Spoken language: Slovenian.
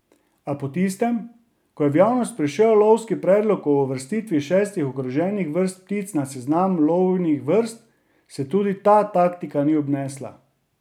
A po tistem, ko je v javnost prišel lovski predlog o uvrstitvi šestih ogroženih vrst ptic na seznam lovnih vrst, se tudi ta taktika ni obnesla.